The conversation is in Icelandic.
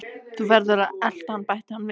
Þú verður að elta hann bætti hann við.